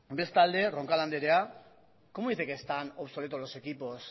bestalde roncal andrea cómo dice que están obsoletos los equipos